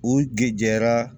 U gɛrɛjɛra